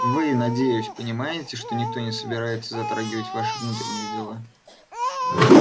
вы надеюсь понимаете что никто не собирается затрагивать ваши внутренние дела